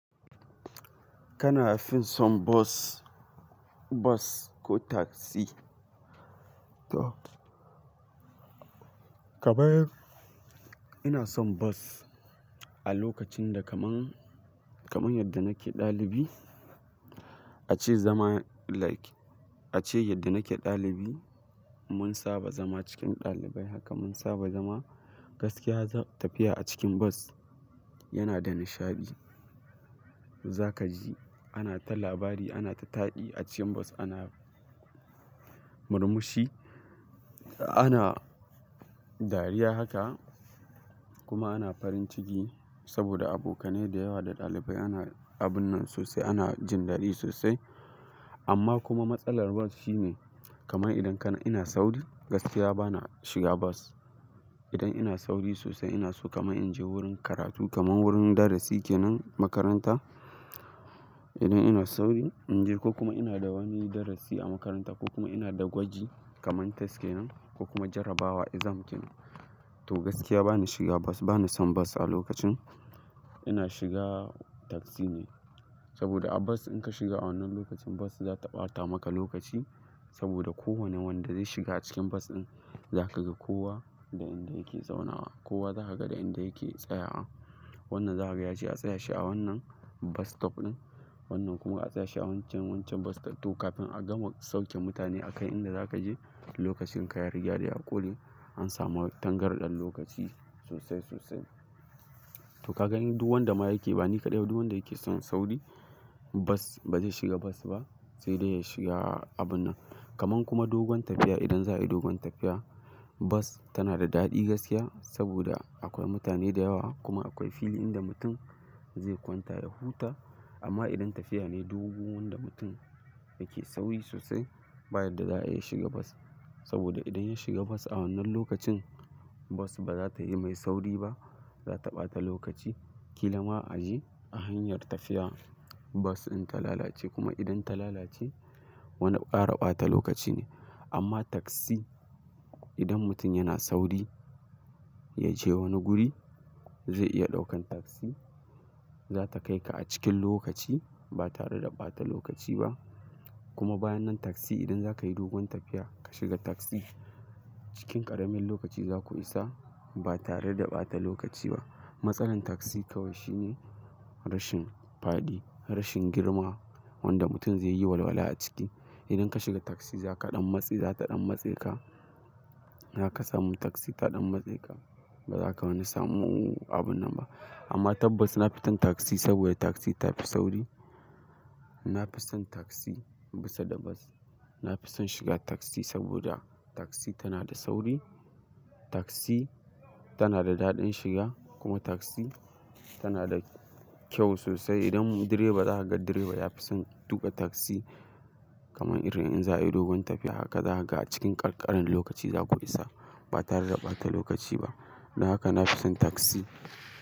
Kana fin son bus, bus ko taxi? To, kaman. Ina son bus a lokacin da kaman, kaman yadda nake dalibi. A ce zama like, a ce yadda nake dalibi. Mun saba zama cikin dalibai haka mun saba zama. Gaskiya tafiya a cikin bus yana da nishaɗi. Za ka ji ana ta labari, ana ta taɗi a cikin bus, ana murmushi, ana dariya haka kuma ana farin ciki saboda abokanai da yawa da dalibai ana abun nan sosai, ana jin daɗi sosai. Amma kuma matsalar bus shine kamar idan kana, ina sauri gaskiya bana shiga bus. Idan ina sauri sosai ina so kamar in je wurin karatu kamar wurin darasi kenan makaranta. Idan ina sauri in je ko kuma ina da wani darasi a makaranta ko kuma ina da gwaji kamar test kenan ko kuma jarrabawa exam kenan. To gaskiya bana shiga bus, bana son bus a lokacin. Ina shiga taxi ne saboda a bus in ka shiga a wannan lokacin bus za ta ɓata maka lokaci saboda kowane wanda zai shiga cikin bus ɗin za ka ga kowa da inda yake zaunawa. Kowa za a ga da inda yake tsayawa. Wannan za a ga yace a tsaya shi a wannan bus stop ɗin. Wannan kuma a tsaya shi a wancan, wancan bus stop. To kafin a gama sauke mutane a kai inda za ka je lokacin ka ya riga da ya ƙure. An samu tangarɗan lokaci sosai sosai. To ka ga duk wanda ma yake bani kaɗai ba duk wanda yake son sauri bus, ba zai shiga bus ba sai dai ya shiga abun nan. Kaman kuma dogon tafiya idan za a yi dogon tafiya bus tana da daɗi gaskiya saboda akwai mutane da yawa kuma akwai fili inda mutum zai kwanta ya huta. Amma idan tafiya ne dogu wanda mutum yake sauri sosai baya yadda za ayi ya iya shiga bus. Saboda idan ya shiga bus a wannan lokacin bus ba za ta yi mai sauri ba. Za ta ɓata lokaci. Kila ma aji, a hanya tafiya bus din ta lalace kuma idan ta lalace wani kara bata lokaci ne. Amma taxi idan mutum yana sauri ya je wani guri zai iya ɗaukan taxi. Za ta kai ka a cikin lokaci ba tare da ɓata lokaci ba. Kuma bayan nan taxi idan za ka yi dogon tafiya ka shiga taxi cikin ƙaramin lokaci za ku isa ba tare da ɓata lokaci ba. Matsalan taxi kawai shi ne rashin faɗi, rashin girma wanda mutum zai yi walwala a ciki. Idan ka shiga taxi za ka ɗan matse, za ta ɗan matse ka. Za ka samu taxi ta ɗan matse ka. Ba za ka wani samu abun nan ba. Amma tabbas na fi son taxi saboda taxi ta fi sauri. Na fi son taxi bisa da bus. Na fi son shiga taxi saboda taxi tana da sauri. Taxi tana da daɗin shiga kuma taxi tana da kyau sosai. Idan direba, zakaga direba yafi son tuka taxi kaman irin in za'ayi dogon tafiya zaka ga acikin kankani lokaci zaku isa ba tare da bata lokaci ba. Don haka na fi son taxi.